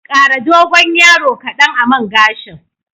Ƙara dogon yaro kadan a man gashin.